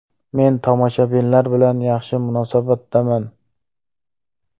Men tomoshabinlar bilan yaxshi munosabatdaman.